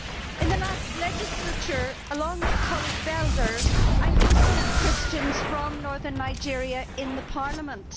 In the last legislature, along with my colleague Mr Belder, I hosted Christians from northern Nigeria in the Parliament.